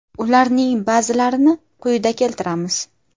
Ularning ba’zilarini quyida keltiramiz.